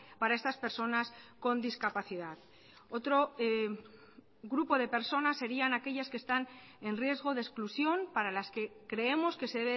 para estas personas con discapacidad otro grupo de personas serían aquellas que están en riesgo de exclusión para las que creemos que se